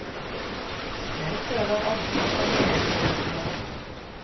Jeg føler omsorg for hele mennesket.